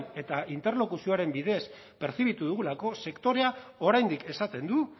eta interlokuzioaren bidez pertzibitu dugulako sektorea oraindik esaten du